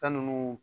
Fɛn nunnu